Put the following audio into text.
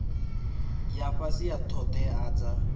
ya fhasi ya ṱhoḓea dza